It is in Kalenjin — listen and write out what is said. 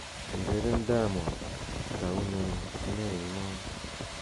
ureren diamond itounen meimon